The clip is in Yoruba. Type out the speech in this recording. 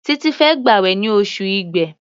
Títí fẹ́ gbàwẹ̀ ní oṣù Igbe.